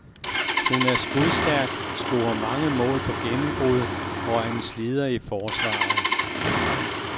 Hun er skudstærk, scorer mange mål på gennembrud og er en slider i forsvaret.